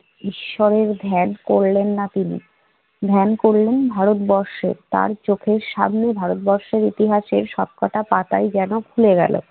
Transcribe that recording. ঈশ্বরের ধ্যান করলেন না তিনি ধ্যান, করলেন ভারতবর্ষের। তার চোখের সামনে ভারতবর্ষের ইতিহাসের সবকটা পাতাই যেন খুলে গেল।